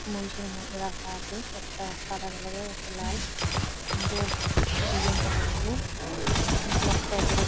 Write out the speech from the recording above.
মহিষের মধ্যে রাখা আছে একটা সাদা কালার -এর একটা লাল সুন্দর ডিজাইন করা আছে নিচে একটা লোক--